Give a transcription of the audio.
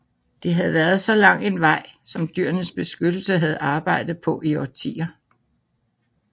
Det havde været så lang en vej som Dyrenes Beskyttelse havde arbejdet på i årtier